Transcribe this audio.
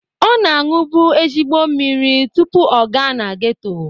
Ọ na-aṅụbu ezigbo mmiri tụpụ ọ gaa na geto